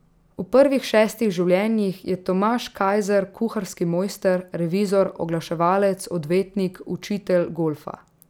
V prvih šestih življenjih je Tomaž Kajzer kuharski mojster, revizor, oglaševalec, odvetnik, učitelj golfa ...